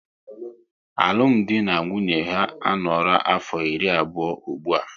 Alụmdi na nwunye ha a noora afọ iri abụọ ụgbụa